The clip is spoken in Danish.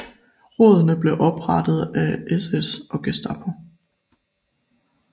Rådene blev oprettet af SS og Gestapo